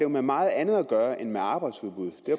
med meget andet at gøre end med arbejdsudbud